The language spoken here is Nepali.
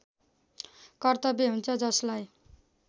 कर्तव्य हुन्छ जसलाई